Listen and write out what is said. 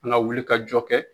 An ga wuli ka jɔ kɛ